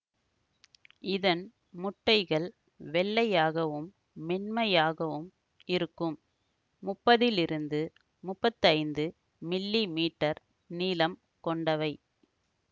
இதன் முட்டைகள் வெள்ளையாகவும் மென்மையாகவும் இருக்கும் முப்பதிலிருந்து முப்பத்தைந்து மில்லிமீட்டர் நீளம் கொண்டவை